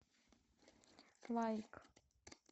лайк